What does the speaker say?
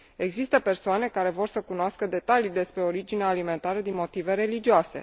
Există persoane care vor să cunoască detalii despre originea alimentară din motive religioase.